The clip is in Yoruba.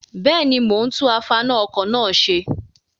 Bẹ́ẹ̀ni, mo ń tún afaná-ọkọ̀ náà ṣe.